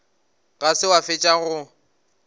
ga se wa fetša go